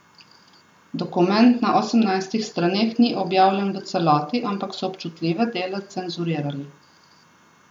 Dokument na osemnajstih straneh ni objavljen v celoti, ampak so občutljive dele cenzurirali.